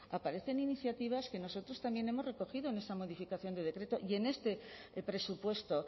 aparecen iniciativas que nosotros también hemos recogido en esa modificación de decreto y en este presupuesto